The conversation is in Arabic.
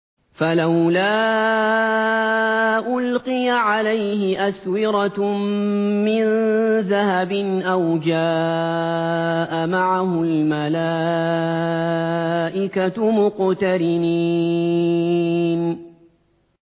فَلَوْلَا أُلْقِيَ عَلَيْهِ أَسْوِرَةٌ مِّن ذَهَبٍ أَوْ جَاءَ مَعَهُ الْمَلَائِكَةُ مُقْتَرِنِينَ